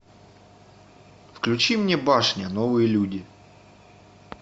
включи мне башня новые люди